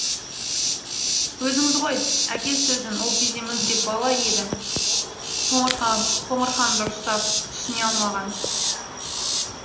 өзіңіз ғой әке сөзін ол кезде мүлде бала еді қоңырхан дұрыстап түсіне алмаған